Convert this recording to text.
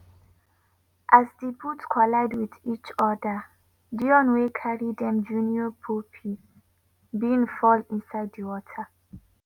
as di boat collide wit each oda dione wey carry dem junior pope bin fall inside di water.